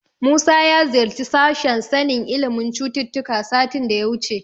Musa ya ziyarci sashen sanin ilimin cututtuka satin da ya wuce.